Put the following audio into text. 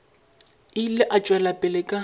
ile a tšwela pele ka